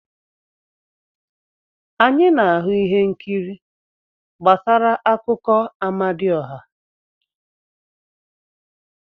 Anyị na-ahụ ihe nkiri gbasara akụkọ Amadioha.